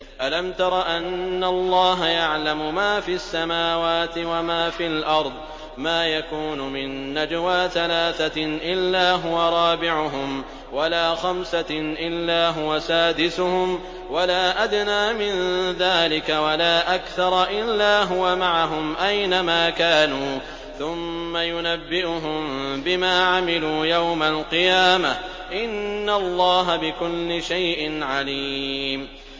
أَلَمْ تَرَ أَنَّ اللَّهَ يَعْلَمُ مَا فِي السَّمَاوَاتِ وَمَا فِي الْأَرْضِ ۖ مَا يَكُونُ مِن نَّجْوَىٰ ثَلَاثَةٍ إِلَّا هُوَ رَابِعُهُمْ وَلَا خَمْسَةٍ إِلَّا هُوَ سَادِسُهُمْ وَلَا أَدْنَىٰ مِن ذَٰلِكَ وَلَا أَكْثَرَ إِلَّا هُوَ مَعَهُمْ أَيْنَ مَا كَانُوا ۖ ثُمَّ يُنَبِّئُهُم بِمَا عَمِلُوا يَوْمَ الْقِيَامَةِ ۚ إِنَّ اللَّهَ بِكُلِّ شَيْءٍ عَلِيمٌ